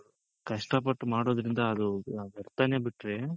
ಕಷ್ಟ ಪಟ್ ಮಾಡೋದ್ರಿಂದ ಅದು ವ್ಯರ್ಥನೆ ಬಿಟ್ರೆ